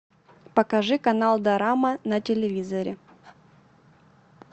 покажи канал дорама на телевизоре